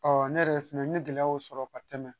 Ɔ ne yɛrɛ fɛnɛ ye gɛlɛyaw sɔrɔ ka tɛmɛ